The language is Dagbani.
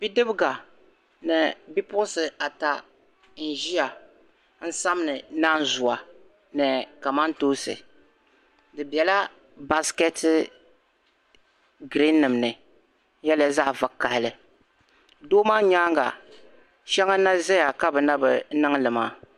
Bi diba ni bipuɣinsi ata n ʒiya ni samdi naan zuwa ni kamantoonsi di bela basket green nim ni n yarila. zaɣi vakahili. doo maa nyaaŋa shaŋa. n na zaya kabi na bi niŋli maa.